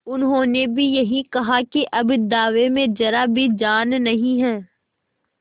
उन्होंने भी यही कहा कि अब दावे में जरा भी जान नहीं है